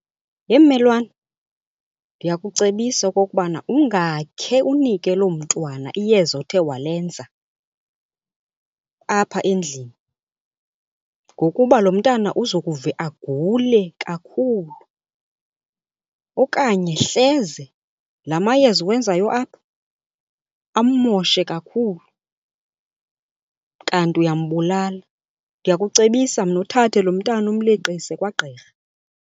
Yhe mmelwane, ndiyakucebisa okokubana ungakhe unike loo mntwana iyeza othe walenza apha endlini ngokuba lo mntana uzokuve agule kakhulu okanye hleze la mayeza uwenzayo apha ammoshe kakhulu kanti uyambulala. Ndiyakucebisa mna uthathe lo mntana umleqise kwagqirha.